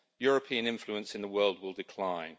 European influence in the world will decline.